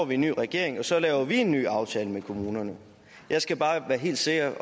vi en ny regering og så laver vi en ny aftale med kommunerne jeg skal bare være helt sikker